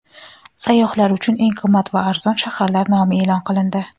Sayyohlar uchun eng qimmat va arzon shaharlar nomi e’lon qilindi.